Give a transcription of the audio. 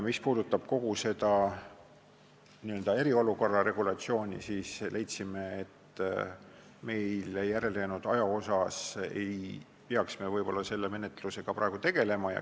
Mis puudutab kogu seda n-ö eriolukorra regulatsiooni, siis me leidsime, et meile järelejäänud aja jooksul ei peaks me võib-olla selle menetlusega praegu tegelema.